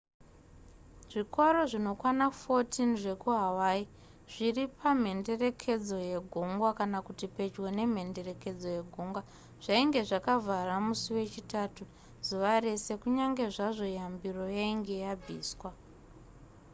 zvikoro zvinokwana 14 zvekuhawaii zviri pamhenderekedzo yegungwa kana kuti pedyo nemhenderekedzo yegungwa zvainge zvakavhara musi wechitatu zuva rese kunyange zvazvo yambiro yainge yabviswa